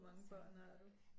Hvor mange børn har du